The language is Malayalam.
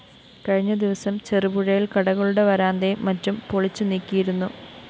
കഴിഞ്ഞ ദിവസം ചെറുപുഴയില്‍ കടകളുടെ വരാന്തയും മറ്റും പൊളിച്ചുനീക്കിയിരുന്നു